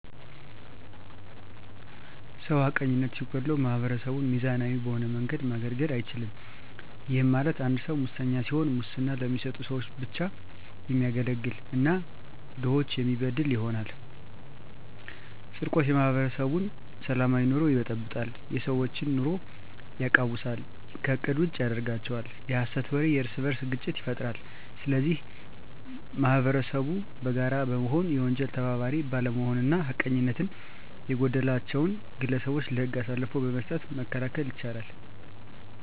ሰው ሀቀኝነት ሲጎለዉ ማህበረሰቡን ሚዛናዊ በሆነ መንገድ ማገልገል አይችልም ይህም ማለት አንድ ሰዉ መሰኛ ሲሆን ሙስና ለሚሰጡ ሰዎች ብቻ የሚያገለግል እና ድሆችን የሚበድል ይሆናል። _ስርቆት የማህበረሰቡን ሰላማዊ ኑሮ ይበጠብጣል የሰዎች ኑሮ የቃዉሳል ከእቅድ ውጭ ያደርጋቸዋል። _የሀሰት ወሬ የእርስበርስ ግጭት ይፈጥራል ስለዚህ ማህበረሰቡ በጋራ በመሆን የወንጀል ተባባሪ ባለመሆንና ሀቀኝነት የጎደላቸዉን ግለሰቦች ለህግ አሳልፎ በመስጠት መከላከል ይቻላል።